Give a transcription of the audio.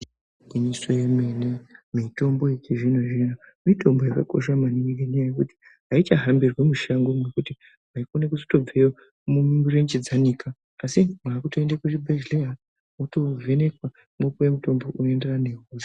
Igwinyiso yemene mitombo yechizvino zvino mitombo yakakosha maningi ngekuti aichahambirwi mushango ngekuti waitokone kubveyo mirenje dzanika asi wakutoenda kuzvibhehleya wotovhenekwa wopuwa mutombo unoenderana nehosha.